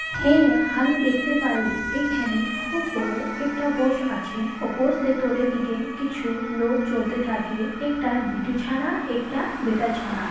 হে হামি দেখতে পারি এখানে খুব বড় একটা বস আছে কিছু লোক চলতে থাকে একটা বিটিছানা একটা বেটাছানা--